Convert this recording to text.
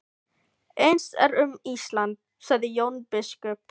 Eins er um Ísland, sagði Jón biskup.